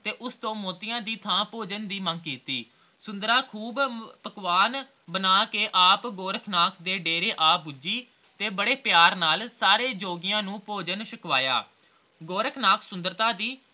ਉਸਤੋਂ ਮੋਤੀਆਂ ਦੀ ਥਾਂ ਭੋਜਨ ਦੀ ਮੰਗ ਕੀਤੀ ਸੁੰਦਰਾਂ ਖੂਬ ਪਕਵਾਨ ਬਣਾਕੇ ਆਪ ਗੋਰਖਨਾਥ ਦੇ ਡੇਰੇ ਆ ਭੁੱਜੀ ਤੇ ਬੜੇ ਪਿਆਰ ਨਾਲ ਸਾਰੇ ਜੋਗੀਆ ਨੂੰ ਭੋਜਨ ਸ਼ਕਵਾਯਾ ਗੋਰਖਨਾਥ ਸੁੰਦਰਤਾ ਦੀ